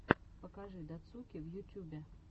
покажи дацуки в ютюбе